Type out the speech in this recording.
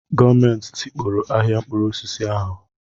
Gọọmenti tikpọrọ ahịa mkpụrụ osisi ahu